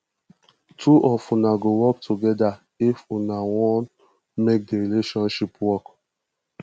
two of una go work togeda if una wan make di relationship work